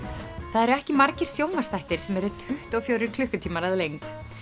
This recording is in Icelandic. það eru ekki margir sjónvarpsþættir sem eru tuttugu og fjórir klukkutímar að lengd